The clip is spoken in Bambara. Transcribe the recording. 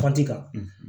Tɔn ci kan